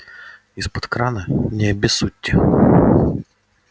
изпод крана не обессудьте